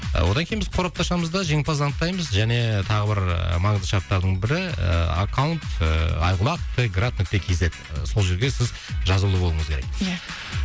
ы одан кейін біз қорапты ашамыз да жеңімпазды анықтаймыз және тағы бір маңызды шарттардың бірі ы аккаунт ыыы айқұлақ т град нүкте кз сол жерге сіз жазулы болуыңыз керек иә